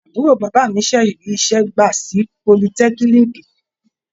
Àbúrò bàbá mi ṣẹ̀ṣẹ̀ rí iṣẹ́ gbà sí politẹ́kíníìkì.